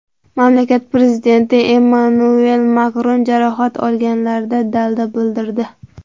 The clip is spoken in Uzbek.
Mamlakat prezidenti Emmanuel Makron jarohat olganlarga dalda bildirdi.